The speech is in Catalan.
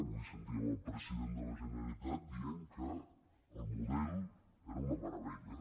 avui sentíem el president de la generalitat dient que el model era una meravella